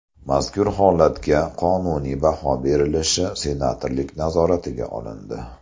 Mazkur holatga qonuniy baho berilishi senatorlik nazoratiga olindi.